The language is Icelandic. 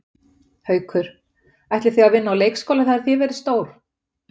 Haukur: Ætlið þið að vinna á leikskóla þegar þið verðið stór?